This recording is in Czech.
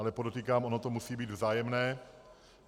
Ale podotýkám, ono to musí být vzájemné.